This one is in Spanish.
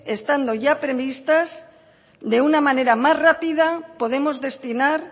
estando ya previstas de una manera más rápida podemos destinar